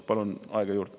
Palun aega juurde.